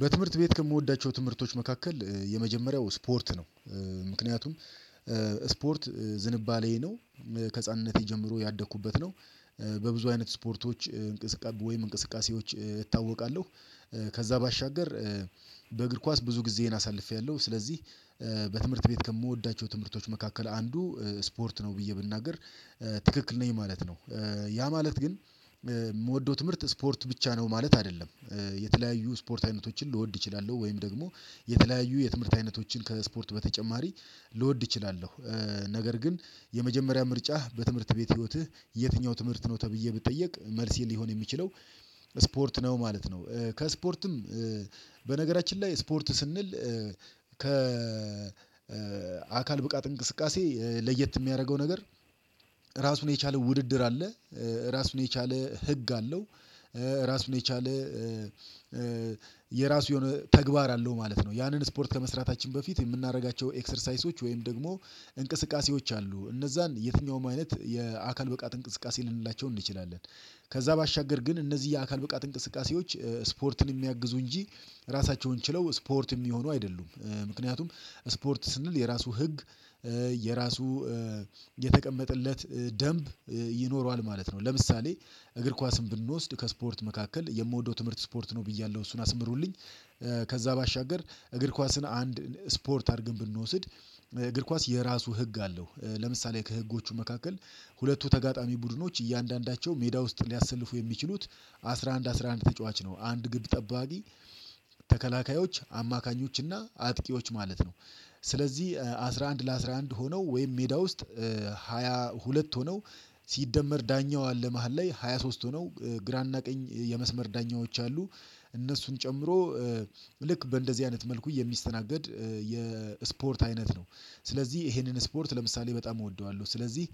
በትምህርት ቤት ከምወዳቸው ትምህርቶች መካከል የመጀመሪያው ስፖርት ነው። ምክንያቱም ስፖርት ዝንባሌዬ ነው ከህፃንነቴ ጀምሮ ያደኩበት ነው። በብዙ አይነት ስፖርቶች እንቅስቃሴ ወይም እንቅስቃሴዎች እታወቃለሁ። ከዛ ባሻገር በእግር ኳስ ብዙ ጊዜዬን አሳልፌያለሁ። ስለዚህ በትምህርት ቤት ከምወዳቸው ትምህርቶች መካከል አንዱ ስፖርት ነው ብዬ ብናገር ትክክል ነኝ ማለት ነው። ያ ማለት ግን የምወደው ትምህርት ስፖርት ብቻ ነው ማለት አይደለም። የተለያዩ ስፖርት አይነቶችን ልወድ እችላለሁ ወይም ደግሞ የተለያዩ የትምህርት አይነቶችን ከስፖርት በተጨማሪ ልወድ እችላለሁ ነገር ግን የመጀመሪያ ምርጫህ በትምህርት ቤት ህይወትህ የትኛው ትምህርት ነው ተብዬ ብጠየቅ መልሴን ሊሆን የሚችለው ስፖርት ነው ማለት ነው። ከስፖርትም በነገራችን ላይ ስፖርት ስንል ከ አካል ብቃት እንቅስቃሴ ለየት የሚያደርገው ነገር ራሱን የቻለ ውድድር አለ። ራሱን የቻለ ህግ አለው። ራስን የቻለ የራስ የሆነ ተግባር አለው ማለት ነው። ያንን ስፖርት ከመስራታችን በፊት የምናደርጋቸው ኤክሰርሳይሶች ወይም ደግሞ እንቅስቃሴዎች አሉ እነዛን የትኛውም አይነት የአካል ብቃት እንቅስቃሴ ልንላቸው እንችላለን። ከዛ ባሻገር ግን እነዚህ የአካል ብቃት እንቅስቃሴዎች ስፖርትን የሚያግዙ እንጂ ራሳቸውን ችለው ስፖርት የሚሆኑ አይደሉም ምክንያቱም ስፖርት ስንል የራሱ ህግ የራሱ የተቀመጠለት ደንብ ይኖረዋል ማለት ነው። ለምሳሌ እግር ኳስን ብንወስድ ከስፖርት መካከል የምወደው ትምህርት ስፖርት ነው ብያለሁ እሱን አስምሩልኝ። ከዛ ባሻገር እግር ኳስን አንድ ስፖርት አድርገን ብንወስድ እግር ኳስ የራሱ ህግ አለው ለምሳሌ ከህጎቹ መካከል ሁለቱ ተጋጣሚ ቡድኖች እያንዳንዳቸው ሜዳ ውስጥ ሊያሰልፉ የሚችሉት አስራ አንድ አስራ አንድ ተጫዋች ነው አንድ ግብ ጠባቂ ተከላካዮች አማካኞች እና አጥቂዎች ማለት ነው። ስለዚህ አስራ አንድ ለአስራ አንድ ሆነው ወይም ሜዳ ውስጥ ሃያ ሁለት ሆነው ሲደመር ዳኛዋ አለ መሃል ላይ ሃያ ሶስት ሆነው ግራ እና ቀኝ የመስመር ዳኛዎች አሉ። እነሱን ጨምሮ ልክ በእንደዚህ አይነት መልኩ የሚስተናገድ የስፖርት አይነት ነው። ስለዚህ ይሄንን ስፖርት ለምሳሌ በጣም እወደዋለሁ። ስለዚህ